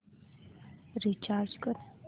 recharge कर